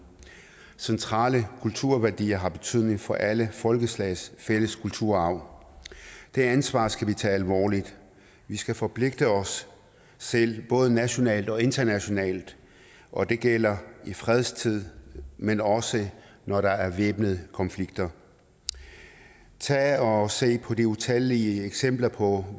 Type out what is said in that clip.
centrale kulturværdier har betydning for alle folkeslags fælles kulturarv det ansvar skal vi tage alvorligt vi skal forpligte os selv både nationalt og internationalt og det gælder i fredstid men også når der er væbnede konflikter tag og se på de utallige eksempler på